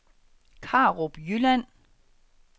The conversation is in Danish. Karup Jylland